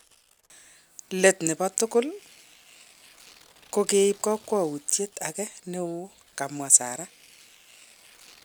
Let ne bo tugul, ko keib kakwautiet age ne o,kakomwa Sarah.